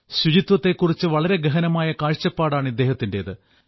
ശുചിത്വത്തെകുറിച്ച് വളരെ ഗഹനമായ കാഴ്ചപ്പാടാണ് ഇദ്ദേഹത്തിന്റേത്